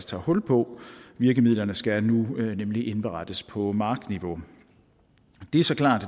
tager hul på virkemidlerne skal nemlig nu indberettes på markniveau det er så klart